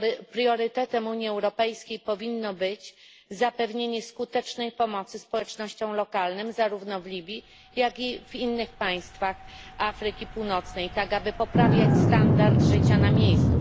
Priorytetem Unii Europejskiej powinno być zapewnienie skutecznej pomocy społecznościom lokalnym, zarówno w Libii, jak i w innych państwach Afryki Północnej, w taki sposób, by poprawiać standard życia na miejscu.